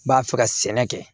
N b'a fɛ ka sɛnɛ kɛ